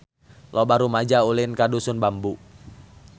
Loba rumaja ulin ka Dusun Bambu